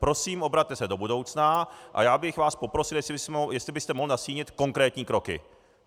Prosím, obraťte se do budoucna a já bych vás poprosil, jestli byste mohl nastínit konkrétní kroky.